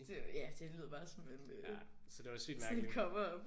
Det ja det lyder bare som en øh sådan et coverup